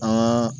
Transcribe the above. An ka